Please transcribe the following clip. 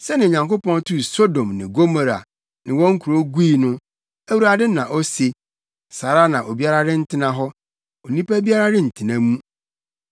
Sɛnea Onyankopɔn tuu Sodom ne Gomora ne wɔn nkurow gui no,” Awurade na ose, “saa ara na obiara rentena hɔ; onipa biara rentena mu.